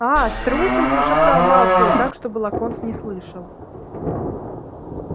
аа струсил прошептал малфой так чтобы локонс не слышал